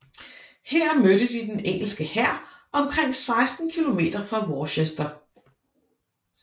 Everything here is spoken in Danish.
Her mødte de den engelske hær omkring 16 km fra Worcester